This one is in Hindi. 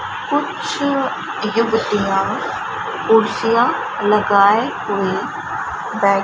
कुछ युवतियाँ कुर्सियां लगाए हुए बै --